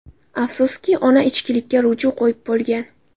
Afsuski, ona ichkilikka ruju qo‘yib bo‘lgan.